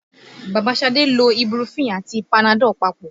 Bàbá Ṣadé lo ibuprofen àti panadol papọ̀